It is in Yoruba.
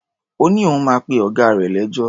Ó ní òun máa pe ọ̀gá rè lẹ́jọ́.